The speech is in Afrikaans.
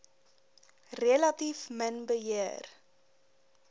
relatief min beheer